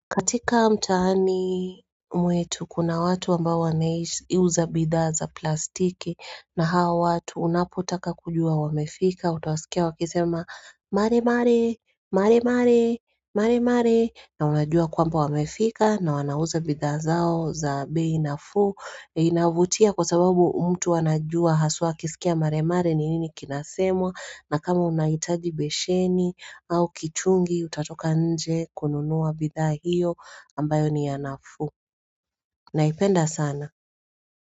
Katika mtaani mwetu kuna watu ambao wanauza bidhaa za plastiki na hawa watu unapotaka kujua wamefika, utawasikia wakisema mare mare, mare mare, mare mare, na unajua kwamba wamefika na wanauza bidha zao za bei nafuu. Inavutia kwa sababu mtu anajua haswa akisikia mare mare ni nini kinasemwa na kama unahitaji besheni au kichungi utatoka nje kununua bidhaa hiyo ambayo ni ya nafuu Naipenda sana.